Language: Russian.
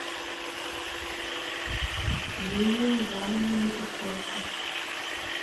юлией ивановной матюшенко